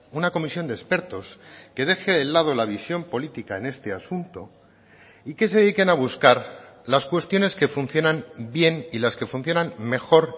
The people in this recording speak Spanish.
una comisión de expertos que deje el lado la visión política en este asunto y que se dediquen a buscar las cuestiones que funcionan bien y las que funcionan mejor